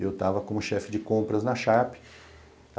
Eu estava como chefe de compras na Sharp.